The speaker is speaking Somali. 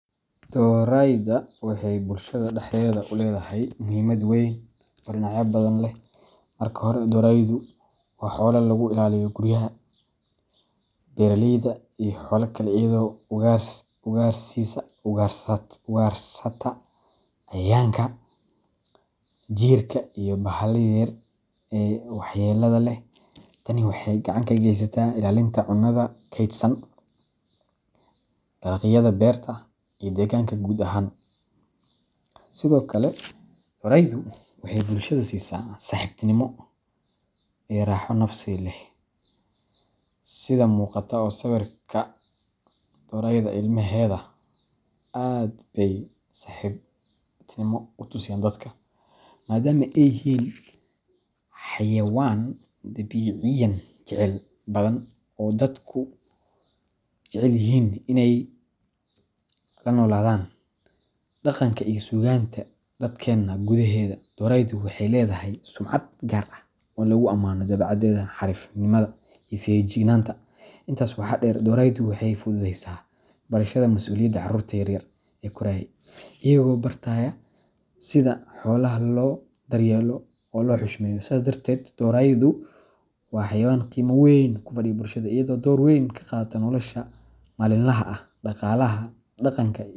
Dorayda waxay bulshada dhexdeeda u leedahay muhiimad weyn oo dhinacyo badan leh. Marka hore, doraydu waa xoolo lagu ilaaliyo guryaha, beeraleyda, iyo xoolaha kale iyadoo ugaarsiisa ugaarsata cayayaanka, jiirka, iyo bahalaha yaryar ee waxyeelada leh. Tani waxay gacan ka geysataa ilaalinta cunnada kaydsan, dalagyada beerta, iyo deegaanka guud ahaan. Sidoo kale, doraydu waxay bulshada siisaa saaxiibtinimo iyo raaxo nafsi ah, sidha muqata oo sawirka dorayda ilmaheda aad bey saxibtinimo u tusiyaan dadka ,maadaama ay yihiin xayawaan dabiiciyan jacayl badan oo dadku jecel yihiin inay la noolaadaan. Dhaqanka iyo suugaanta dadkeena gudaheeda, doraydu waxay leedahay sumcad gaar ah oo lagu ammaano dabeecadeeda xariifnimada iyo feejignaanta. Intaas waxaa dheer, doraydu waxay fududeysa barashada masuuliyadda carruurta yar yar ee koraya, iyagoo bartaya sida xoolaha loo daryeelo oo loo xushmeeyo. Sidaas darteed, doraydu waa xayawaan qiimo weyn ugu fadhiya bulshada, iyadoo door weyn ka qaadata nolosha maalinlaha ah, dhaqaalaha, dhaqanka.